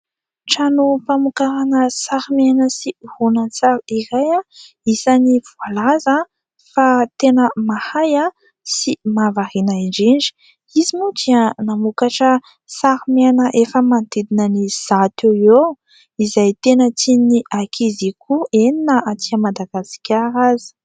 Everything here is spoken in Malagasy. Tranom-pamokarana sary miaina sy horonan-tsary iray isan'ny voalaza fa tena mahay sy mahavariana indrindra. Izy moa dia namokatra sary miaina efa manodidina ny zato eo ho eo izay tena tian'ny ankizy koa, eny na aty Madagasikara aza.